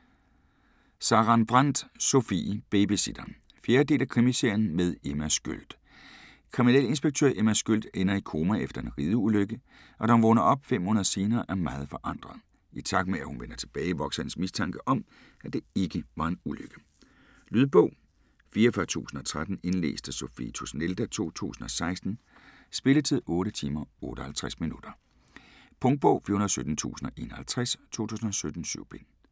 Sarenbrant, Sofie: Babysitteren 4. del af Krimiserien med Emma Sköld. Kriminalinspektør Emma Sköld ender i koma efter en rideulykke, og da hun vågner op fem måneder senere er meget forandret. I takt med at hun vender tilbage, vokser hendes mistanke om, at det ikke var en ulykke. Lydbog 44013 Indlæst af Sophie Tusnelda, 2016. Spilletid: 8 timer, 58 minutter. Punktbog 417051 2017. 7 bind.